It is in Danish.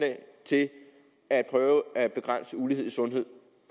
at prøve at begrænse ulighed i sundhed